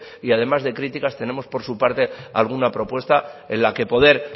y además de críticas tenemos por su parte alguna propuesta en la que poder